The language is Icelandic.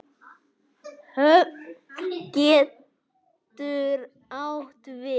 Höfn getur átt við